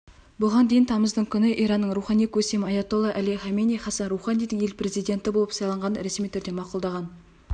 бұған дейін тамыздың күні иранның рухани көсемі аятолла әли хаменеи хассан роуханидің ел президенті болып сайланғанын ресми түрде мақұлдаған